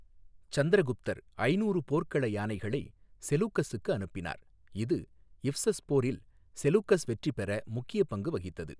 சந்திரகுப்தர் ஐநூறு போர்க்கள யானைகளை செலூக்கஸுக்கு அனுப்பினார், இது இப்சஸ் போரில் செலூக்கஸ் வெற்றி பெற முக்கியப் பங்கு வகித்தது.